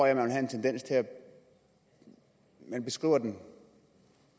jeg vil have en tendens til at beskrive den